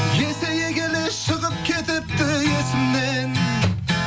есейе келе шығып кетіпті есімнен